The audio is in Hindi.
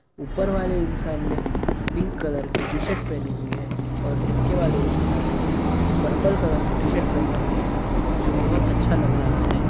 ऊपर वाले इंसान ने पिंक कलर की टी-शर्ट पहनी हुई है और नीचे वाले इंसान ने पर्पल कलर की टी-शर्ट पहनी हुई है जो बहोत अच्छा लग रहा है।